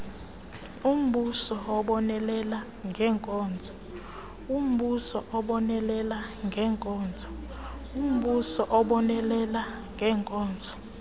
umbuso ubonelela ngeenkonzo